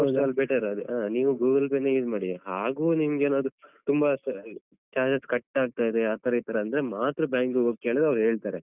ಆದಷ್ಟು ಅದೇ better ಅದು ಹಾ. ನೀವು Google Pay use ಮಾಡಿ ಹಾಗೂ ನಿಮ್ಗೇನಾದ್ರು ತುಂಬಾ ಸಲ charges cut ಆಗ್ತಾ ಇದೆ ಆತರ ಈತರ ಅಂದ್ರೆ ಮಾತ್ರ bank ಹೋಗಿ ಕೇಳಿದ್ರೆ ಅವ್ರು ಹೇಳ್ತಾರೆ.